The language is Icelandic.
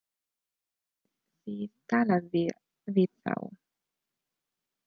Hafið þið talað við þá?